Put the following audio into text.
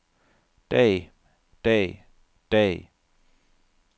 dag dag dag